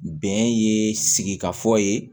Bɛn ye sigi ka fɔ ye